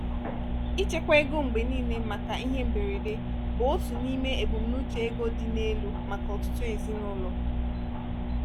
ịchekwa ego mgbe niile maka ihe mberede bụ otu n’ime ebumnuche ego dị n’elu maka ọtụtụ ezinụlọ.